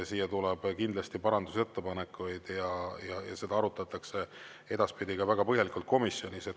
Siia tuleb kindlasti parandusettepanekuid ja seda arutatakse edaspidi ka väga põhjalikult komisjonis.